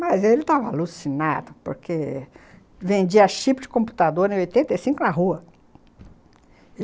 Mas ele tava alucinado, porque... Vendia chip de computador em oitenta e cinco na rua!